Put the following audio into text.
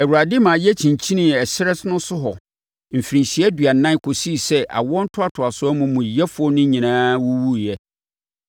Awurade ma yɛkyinkyinii ɛserɛ no so hɔ mfirinhyia aduanan kɔsii sɛ saa awoɔ ntoatoasoɔ amumuyɛfoɔ no nyinaa wuwuiɛ.